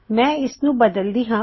ਮੈ ਇਸਨੂੰ ਬਦਲਦੀ ਹਾਂ